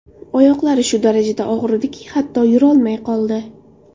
Oyoqlari shu darajada og‘rirdiki, hatto yurolmay qoldi.